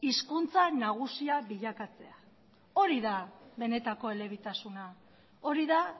hizkuntza nagusia bilakatzea hori da benetako elebitasuna hori da